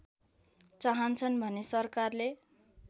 चाहन्छन् भने सरकारले